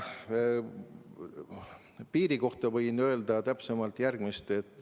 Piiri kohta võin täpsemalt öelda järgmist.